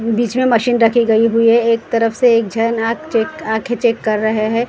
बीच मैं मशीन रखी गयी हुई हैं एक तरफ से एक छे नाक चेक आँखी चेक कर रहे हैं।